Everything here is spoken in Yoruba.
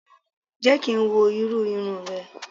Jẹ́ kí n wo irú irun rẹ